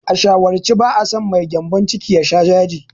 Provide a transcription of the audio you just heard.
A shawarce, ba'a so mai gyambon ciki ya sha yaji.